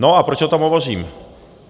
No a proč o tom hovořím?